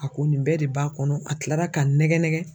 A ko nin bɛɛ de b'a kɔnɔ a kilala ka n nɛgɛ nɛgɛ.